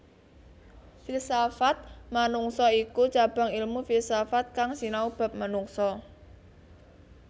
Filsafat manungsa iku cabang ilmu filsafat kang sinau bab manungsa